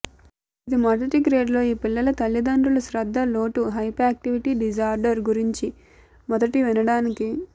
ఇది మొదటి గ్రేడ్ లో ఈ పిల్లల తల్లిదండ్రులు శ్రద్ధ లోటు హైప్యాక్టివిటీ డిజార్డర్ గురించి మొదటి వినడానికి